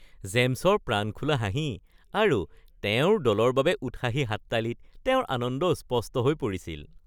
জেমছৰ প্ৰাণখোলা হাঁহি আৰু তেওঁৰ দলৰ বাবে উৎসাহী হাততালিত তেওঁৰ আনন্দ স্পষ্ট হৈ পৰিছিল